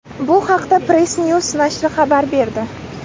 Bu haqda PressNews nashri xabar berdi .